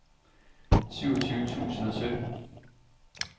syvogtyve tusind og sytten